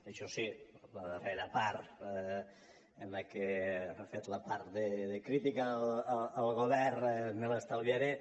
això sí la darrera part en la que ha fet la part de crítica al govern me l’estalviaré